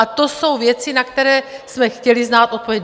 A to jsou věci, na které jsme chtěli znát odpověď.